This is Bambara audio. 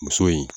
Muso in